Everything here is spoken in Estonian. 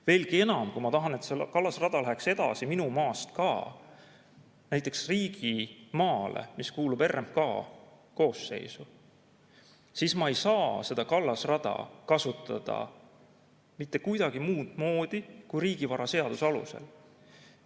Veelgi enam, kui ma tahan, et see kallasrada läheks minu maast ka edasi, näiteks riigimaale, mis kuulub RMK koosseisu, siis ma ei saa seda kallasrada kasutada mitte kuidagi muud moodi kui riigivaraseaduse alusel.